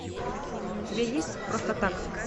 у тебя есть просто так